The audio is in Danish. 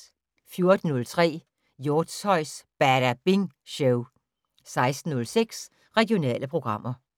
14:03: Hjortshøjs Badabing Show 16:06: Regionale programmer